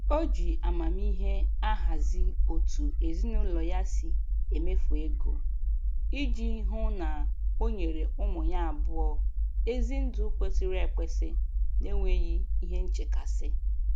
O ji amamihe ahazi otu ezinụlọ ya si emefu ego, iji hụ na onyere ụmụ ya abụọ ezi ndụ kwesịrị ekwesị n'enweghị ihe nchekasị